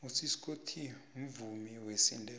usiskho t mvumiwesindebele